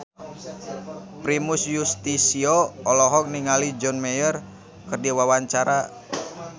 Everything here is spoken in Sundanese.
Primus Yustisio olohok ningali John Mayer keur diwawancara